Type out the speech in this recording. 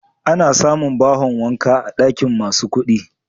Ana samun bahon wanka a banɗakin masu kuɗi.